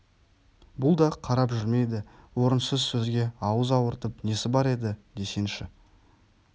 бұл да қарап жүрмейді орынсыз сөзге ауыз ауыртып несі бар еді десеңші